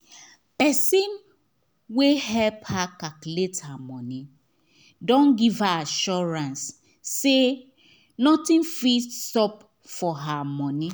person wey help her calculate her moeny don give he assurance say nothing fit sup for her money